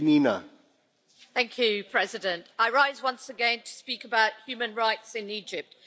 Mr President, I rise once again to speak about human rights in Egypt.